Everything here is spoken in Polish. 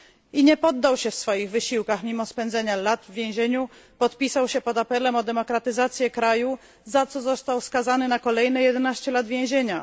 I nie poddał się w swoich wysiłkach mimo spędzenia lat w więzieniu podpisał się pod apelem o demokratyzację kraju, za co został skazany na kolejne jedenaście lat więzienia.